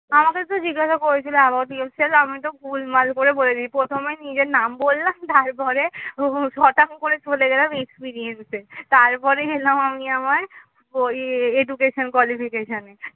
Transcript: আমাকে তো জিজ্ঞাসা করেছিল about yourself আমি তো full ভুল ভাল করে বলে দিই প্রথমে নিজের নাম বললাম. তারপরে. হঠাৎ করে চলে গেলাম experience তারপরে এলাম আমি আমার ই education qualification এ